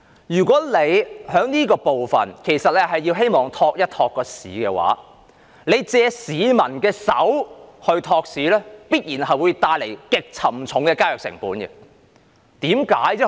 如果政府是想借此措施托市、借市民的手托市，必然會帶來極沉重的交易成本。